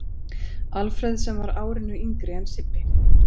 Alfreð sem var árinu yngri en Sibbi.